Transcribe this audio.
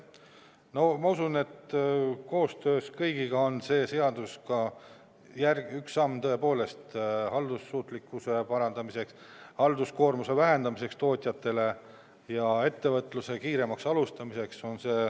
No ma usun, et koostöös kõigiga on see seadus väga hea esmane samm haldussuutlikkuse parandamiseks, halduskoormuse vähendamiseks tootjatele ja ettevõtluse kiiremaks alustamiseks.